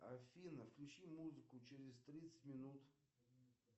афина включи музыку через тридцать минут